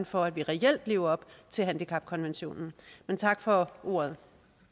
for at vi reelt lever op til handicapkonventionen tak for ordet